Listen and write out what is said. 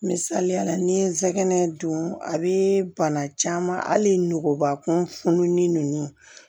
Misaliyala ni ye nsɛkɛnɛ dun a bɛ bana caman hali nugubakun fununin ninnu